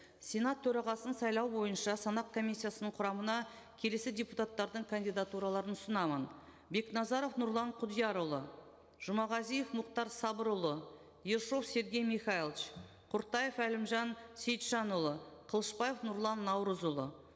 сенат төрағасын сайлау бойынша санақ комиссиясының құрамына келесі депутаттардың кандидатураларын ұсынамын бекназаров нұрлан құдиярұлы жұмағазиев мұхтар сабырұлы ершов сергей михайлович құртаев әлімжан сейітжанұлы қылышбаев нұрлан наурызұлы